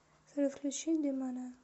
салют включи недонебо